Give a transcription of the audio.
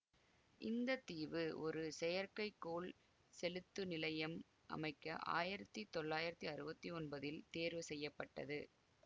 இந்த தீவு ஒரு செயற்கைக்கோள் செலுத்து நிலையம் அமைக்க ஆயிரத்தி தொள்ளாயிரத்தி அறுவத்தி ஒன்பதில் தேர்வு செய்ய பட்டது